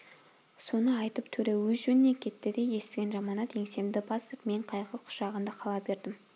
соны айтып төре өз жөніне кетті де естіген жаманат еңсемді басып мен қайғы құшағында қала бердім